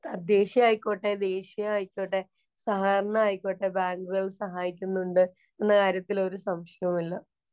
തദ്ദേശീയം ആയിക്കോട്ടെ, ദേശീയം ആയിക്കൊട്ടെ, സഹകരണം ആയിക്കോട്ടെ ബാങ്കുകള്‍ സഹായിക്കുന്നുണ്ട് എന്ന കാര്യത്തിൽ ഒരു സംശയവുമില്ല.